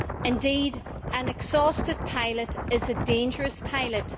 Indeed, an exhausted pilot is a dangerous pilot.